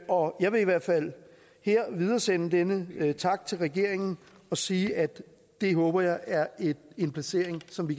og jeg vil i hvert fald her videresende denne tak til regeringen og sige at det håber jeg er en placering som vi